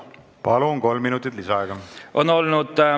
Palun, kolm minutit lisaaega!